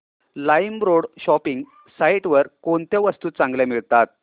LimeRoad shopping site वर कोणत्या वस्तू चांगल्या मिळतात